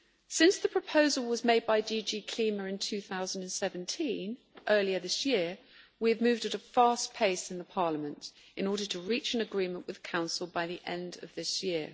Since the proposal was made by DG CLIMA in 2017, earlier this year, we have moved at a fast pace in Parliament in order to reach an agreement with Council by the end of this year.